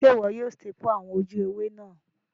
Sé wo yio staple àwon ojú ewé náà